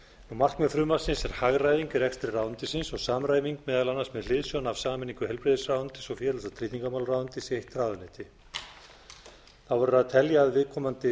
markmið frumvarpsins er hagræðing í rekstri ráðuneytisins og samræming meðal annars með hliðsjón af sameiningu heilbrigðisráðuneytis og félags og tryggingamálaráðuneytis í eitt ráðuneyti þá verður að telja að viðkomandi